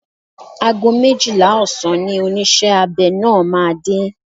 Ago méjìlá ọ̀sán ni oníṣẹ́ abẹ náà máa dé.